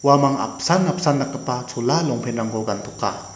uamang apsan apsan dakgipa chola longpant-rangko gantoka.